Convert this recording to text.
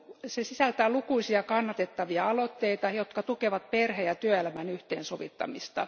Se sisältää lukuisia kannatettavia aloitteita, jotka tukevat perhe ja työelämän yhteensovittamista.